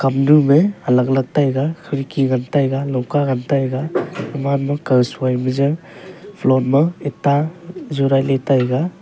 kam dum me alag-alag taiga khirki ngan taiga lungka gan taiga gaman ma kau sui ma ja floor ma itta jurai le taiga.